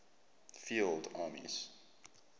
field armies